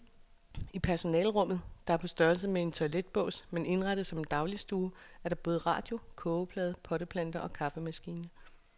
I personalerummet, der er på størrelse med en toiletbås men indrettet som en dagligstue, er der både radio, kogeplade, potteplanter og kaffemaskine.